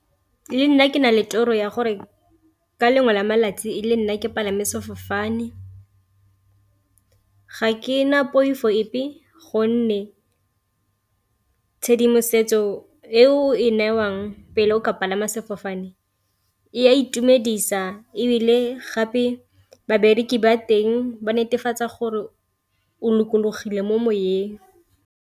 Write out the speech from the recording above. Le nna ke na le toro ya gore ka lengwe la malatsi le nna ke palame sefofane, ga ke na poifo epe gonne tshedimosetso e o e newang pele o ka palama sefofane e a itumedisa, ebile gape babereki ba teng ba netefatsa gore o lokologile mo moyeng.